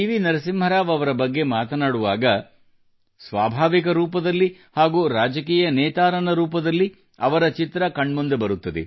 ನರಸಿಂಹರಾವ್ ಅವರ ಬಗ್ಗೆ ಮಾತನಾಡುವಾಗ ಸ್ವಾಭಾವಿಕ ರೂಪದಲ್ಲಿ ಹಾಗೂ ರಾಜಕೀಯ ನೇತಾರನ ರೂಪದಲ್ಲಿ ಅವರ ಚಿತ್ರ ಕಣ್ಮುಂದೆ ಬರುತ್ತದೆ